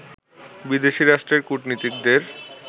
বিদেশী রাষ্ট্রের কূটনীতিকদের